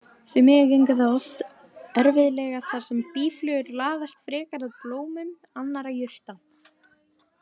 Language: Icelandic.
Því miður gengur það oft erfiðlega þar sem býflugur laðast frekar að blómum annarra jurta.